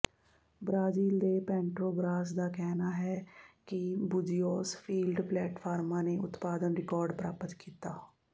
Brazil ਦੇ Petrobras ਦਾ ਕਹਿਣਾ ਹੈ ਕਿ ਬੁਜ਼ੀਓਸ ਫੀਲਡ ਪਲੇਟਫਾਰਮਾਂ ਨੇ ਉਤਪਾਦਨ ਰਿਕਾਰਡ ਪ੍ਰਾਪਤ ਕੀਤਾ